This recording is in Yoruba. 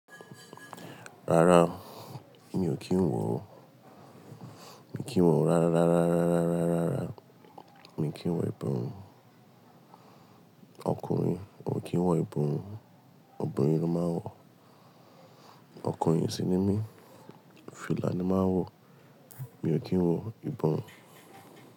Rárá, mi ò kí ń wọ̀ o. Mi ò kí ń wọ̀ rárá, rárá, rárá, rárá, rárá, rárá. Mi ò kí ń wọ ìborùn ọkùnrin, mi ò kí ń wọ ìborùn obìnrin ló máa ń wọ̀. Ọkùnrin sí ní mi, fìlà ni máa ń wọ̀. Mi ò kí ń wọ ìbọn.